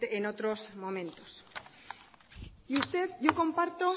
en otros momentos y usted yo comparto